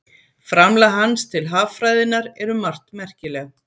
framlag hans til haffræðinnar er um margt merkilegt